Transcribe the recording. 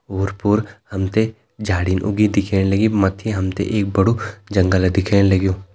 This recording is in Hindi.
ओर पोर हम ते झाड़ीन उगी दिखेण लगीं मथि एक बड़ु जंगल दिखेण लग्युं।